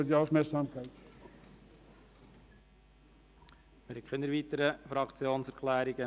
Es gibt keine weiteren Fraktionserklärungen.